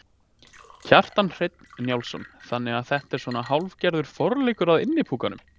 Kjartan Hreinn Njálsson: Þannig að þetta er svona hálfgerður forleikur að Innipúkanum?